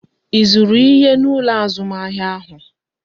Ị zụrụ ihe n'ụlọ azụmahịa ụnyaahụ?